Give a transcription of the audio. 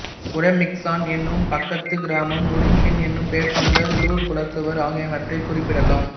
உரோமிச்கான் எனும் பக்கத்துக் கிராமம் உருமியன் எனும் பெயர் கொண்ட லூர் குலத்தவர் ஆகியனவற்றைக் குறிப்பிடலாம்